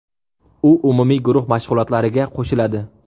U umumiy guruh mashg‘ulotlariga qo‘shiladi.